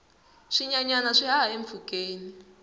swinyenyana swi haha empfhukeni